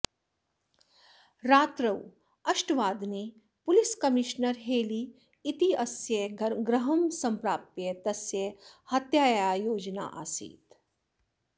रात्रौ अष्टवादने police commissioner Haley इत्यस्य गृहं सम्प्राप्य तस्य हत्यायाः योजना आसीत्